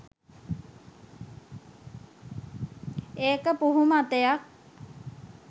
ඒක පුහු මතයක්.